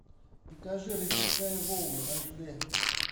покажи рассекая волны аш дэ